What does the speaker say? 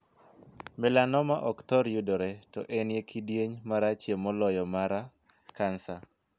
Melanoma' ok thor yudore to en e kidieny marachie moloyo mara kansa.